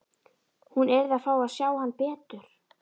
Hún yrði að fá að sjá hann betur.